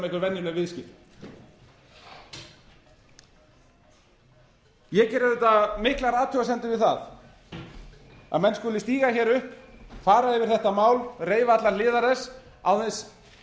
einhver venjuleg viðskipti ég geri auðvitað miklar athugasemdir við það að menn skuli stíga hér upp fara yfir þetta mál reifa allar hliðar þess án þess